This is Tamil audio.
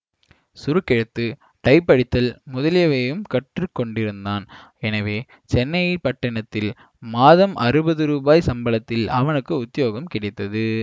சுருக்கெழுத்து டைப் அடித்தல் முதலியவையும் கற்று கொண்டிருந்தான் எனவே சென்னை பட்டினத்தில் மாதம் அறுபது ரூபாய் சம்பளத்தில் அவனுக்கு உத்தியோகம் கிடைத்தது